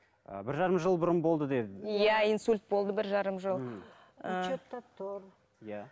ы бір жарым жыл бұрын болды деді иә инсульт болды бір жарым жыл ыыы учетта тұр иә